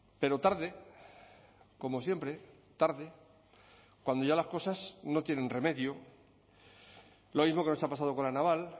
pero tarde como siempre tarde cuando ya las cosas no tienen remedio lo mismo que nos ha pasado con la naval